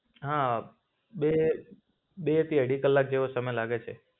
હ, બે બે થી અઢી કલાક જેવો સમય લાગે છે.